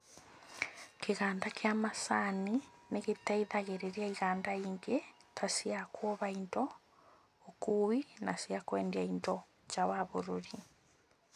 Kĩganda kĩa macani nĩgĩteithagĩrĩria iganda ingĩ ta cia kuoha indo, ũkui na cia kwendia indo nja wa bũrũri